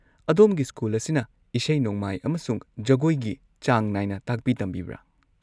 ꯑꯗꯣꯝꯒꯤ ꯁ꯭ꯀꯨꯜ ꯑꯁꯤꯅ ꯏꯁꯩ-ꯅꯣꯡꯃꯥꯏ ꯑꯃꯁꯨꯡ ꯖꯒꯣꯏꯒꯤ ꯆꯥꯡ ꯅꯥꯏꯅ ꯇꯥꯛꯄꯤ-ꯇꯝꯕꯤꯕ꯭ꯔꯥ?